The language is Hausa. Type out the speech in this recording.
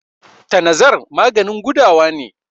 tanazar maganin gudawa ne